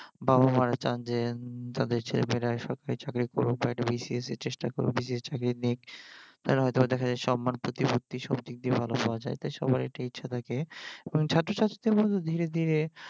বাবা মারা চান যে উম তাদের ছেলেমেয়েরা সরকারি চাকরি করুক বা BCS এর চেষ্টা করুক BCS চাকরি নিক তারা হয়ত দেখা যায় সম্মান প্রতিপত্তি সবদিক দিয়ে ভালো পাওয়া যায় সবার এইটা ইচ্ছা থাকে ছাত্রছাত্রীদের মধ্যেও ধীরে ধীরে